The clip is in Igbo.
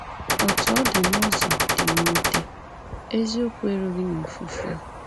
Otú ọ dị, n’ụzọ dị mwute, eziokwu erughị na ofufu a.